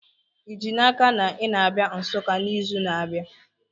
Ị ji n'aka na ị na-abịa Nsukka n'izu na-abịa?